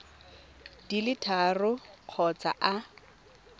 di le tharo kgotsa a